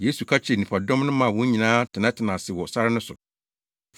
Yesu ka kyerɛɛ nnipadɔm no maa wɔn nyinaa tenatenaa ase wɔ sare no so.